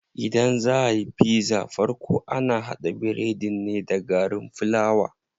Idan zaa ayi pizza farko ana haɗa biredin ne da garin fulawa.